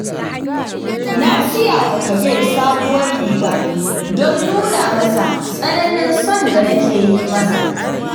Na siyawa kabir sabuwar riga don nuna masa tsananin son da nake yi masa